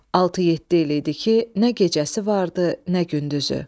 Altı-yeddi il idi ki, nə gecəsi vardı, nə gündüzü.